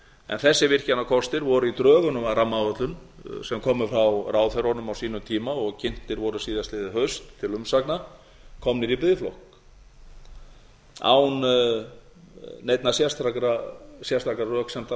en þessir virkjanakostir voru í drögunum að rammaáætlun sem komu frá ráðherrunum á sínum tíma og kynntir voru síðastliðið haust til umsagna komnir í biðflokk án neinna sérstakra